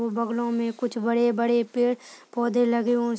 और बगलों में कुछ बड़े बड़े पेड़ पौधे लगे हुए --